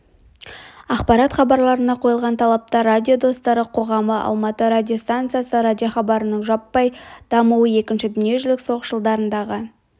ақпарат хабарларына қойылған талаптар радио достары қоғамы алматы радиостанциясы радиохабарының жаппай дамуы екінші дүниежүзілік соғыс жылдарындағы